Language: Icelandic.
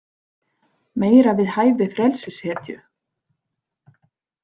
Meira við hæfi frelsishetju.